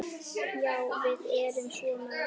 Já, við erum svo mörg.